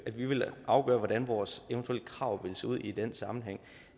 at vi vil afgøre hvordan vores eventuelle krav vil se ud i den sammenhæng